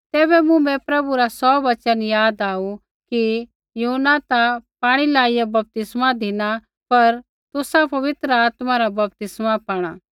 तैबै मुँभै प्रभु रा सौ वचन याद आऊ कि यूहन्नै ता पाणियै लाइआ बपतिस्मा धिना पर तुसा पवित्र आत्मा रा बपतिस्मा पाणा